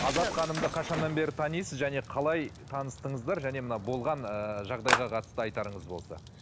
азат ханымды қашаннан бері танисыз және қалай таныстыңыздар және мына болған ыыы жағдайға қатысты айтарыңыз болса